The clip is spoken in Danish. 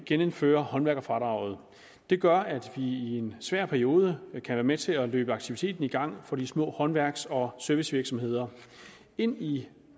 genindføre håndværkerfradraget det gør at vi i en svær periode kan være med til at løbe aktiviteten i gang for de små håndværks og servicevirksomheder indtil